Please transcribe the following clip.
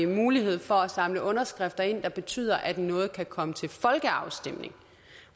mulighed for at samle underskrifter ind der betyder at noget kan komme til folkeafstemning